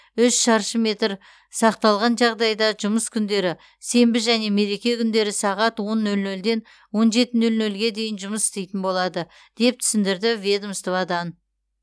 үш шаршы метр сақталған жағдайда жұмыс күндері сенбі және мереке күндері сағат он нөл нөлден он жеті нөл нөлге дейін жұмыс істейтін болады деп түсіндірді ведомстводан